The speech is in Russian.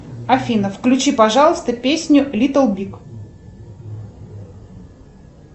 афина включи пожалуйста песню литтл биг